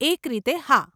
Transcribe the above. એક રીતે, હા.